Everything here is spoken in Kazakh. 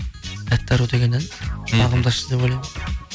тәтті ару деген ән бағымды ашты деп ойлаймын мхм